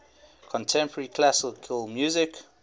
contemporary classical music